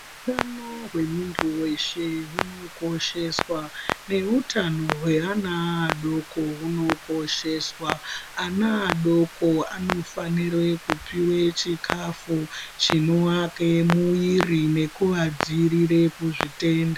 Utano hwemuntu weshe hunokosheswa neutano hweana adoko hunokosheswa. Ana adoko anofanire kupiwe chikafu chinoake muiri nekuadziirire kuzvitenda.